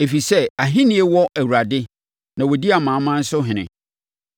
ɛfiri sɛ ahennie wɔ Awurade na ɔdi amanaman so ɔhene.